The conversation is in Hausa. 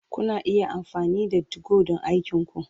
Kuna iya amfani da 2go don aikinku.